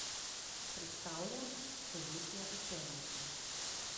Predstavljam stoletja učenosti!